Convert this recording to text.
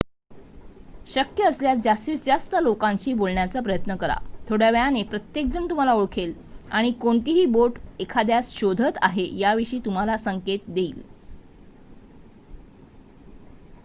शक्य असल्यास जास्तीत जास्त लोकांशी बोलण्याचा प्रयत्न करा थोड्या वेळाने प्रत्येकजण तुम्हाला ओळखेल आणि कोणती बोट एखाद्यास शोधत आहे याविषयी तुम्हाला संकेत देईल